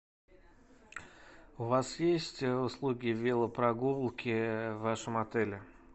у вас есть услуги велопрогулки в вашем отеле